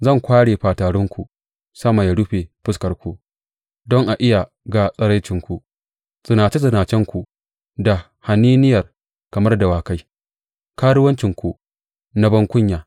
Zan kware fatarinku sama ya rufe fuskarku don a iya ga tsiraicinku zinace zinacenku da haniniya kamar dawakai, karuwancinku na bankunya!